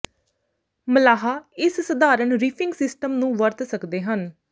ਮਲਾਹ ਇਸ ਸਧਾਰਨ reefing system ਨੂੰ ਵਰਤ ਸਕਦੇ ਹਨ